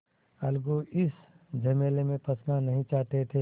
अलगू इस झमेले में फँसना नहीं चाहते थे